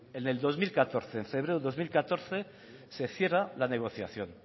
en febrero del dos mil catorce se cierra la negociación